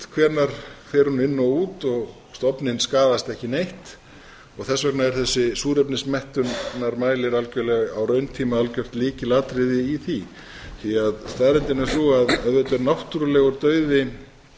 hvenær fer hún inn og út og stofninn skaðast ekki neitt þess vegna er þessi súrefnismettunarmælir algjörlega á rauntíma algjört lykilatriði í því því staðreyndin er sú að auðvitað er náttúrulegur dauði